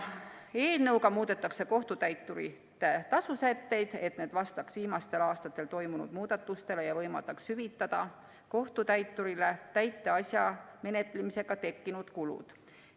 Eelnõuga muudetakse kohtutäituri tasu sätteid, et need vastaks viimastel aastatel toimunud muudatustele ja võimaldaks hüvitada kohtutäiturile täiteasja menetlemisega tekkinud kulud.